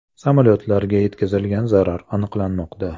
Samolyotlarga yetkazilgan zarar aniqlanmoqda.